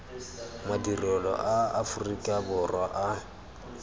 madirelo a aforika borwa a